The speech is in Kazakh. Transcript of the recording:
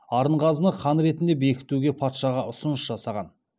арынғазыны хан ретінде бекітуге патшаға ұсыныс жасаған